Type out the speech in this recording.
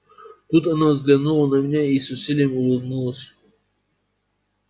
тут она взглянула на меня и с усилием улыбнулась